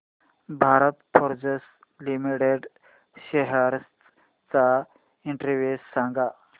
Bharat Forge limited shares चा index सांगा